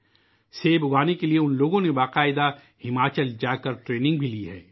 سیب اگانے کے لئے ، ان لوگوں نے ہماچل جاکر باقاعدہ ٹریننگ بھی لی ہے